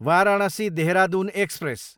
Varanasi, Dehradun express